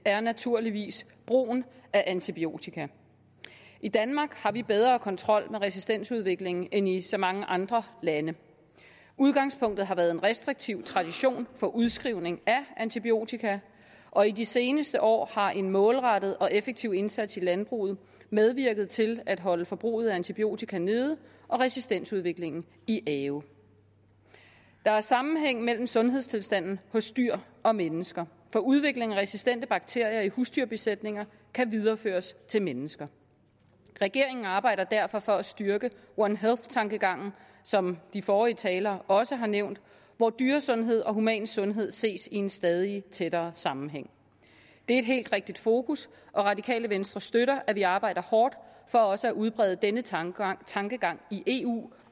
er naturligvis brugen af antibiotika i danmark har vi bedre kontrol med resistensudviklingen end i så mange andre lande udgangspunktet har været en restriktiv tradition for udskrivning af antibiotika og i de seneste år har en målrettet og effektiv indsats i landbruget medvirket til at holde forbruget af antibiotika nede og resistensudviklingen i i ave der er sammenhæng mellem sundhedstilstanden hos dyr og mennesker for udvikling af resistente bakterier i husdyrbesætninger kan videreføres til mennesker regeringen arbejder derfor for at styrke one health tankegangen som de forrige talere også har nævnt hvor dyresundhed og human sundhed ses i en stadig tættere sammenhæng det er et helt rigtigt fokus og radikale venstre støtter at vi arbejder hårdt for også at udbrede denne tankegang tankegang i eu